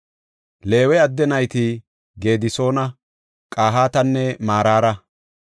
Leewe adde nayti Gedisoona, Qahaatanne Maraara.